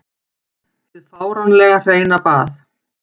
Hið fáránlega hreina bað.